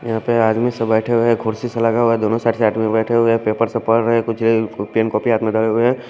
यहा पे आदमी सब बेठे हुए है कुड्सी सा लगा हुआ है दोनों साइड से आदमी से बेठे हुए है पेपर सा पड़ रहे है कुच्छ पेन कॉपी हाथ में लगे हुए है।